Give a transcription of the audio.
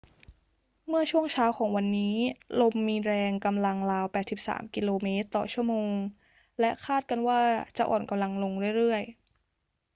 เมื่อช่วงเช้าของวันนี้ ลมมีแรงกำลังราว 83 กม./ชม. และคาดกันว่าจะอ่อนกำลังลงเรื่อย ๆ